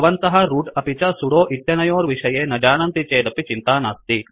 भवन्तः रूट अपि च सूडो इत्यनयोर्विषये न जानन्ति चेद् अपि चिन्ता नास्ति